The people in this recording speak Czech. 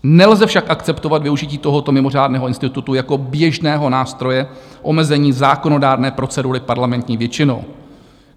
Nelze však akceptovat využití tohoto mimořádného institutu jako běžného nástroje omezení zákonodárné procedury parlamentní většinou.